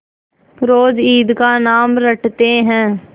रोज ईद का नाम रटते थे